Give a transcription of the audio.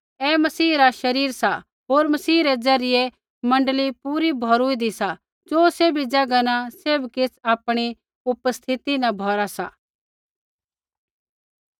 ऐ मसीह रा शरीर सा होर मसीह रै ज़रियै मण्डली पूरी भौरूऊँदी सा ज़ो सैभी ज़ैगा न सैभ किछ़ आपणी उपस्थिति न भौरा सा